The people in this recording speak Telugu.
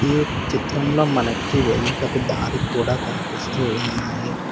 ఈ చిత్రంలో మనకి వెళ్ళుటకు దారి కూడా కనిపిస్తూ ఉన్నాయి.